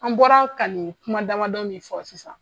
An bɔra ka nin kuma damadɔ min fɔ sisan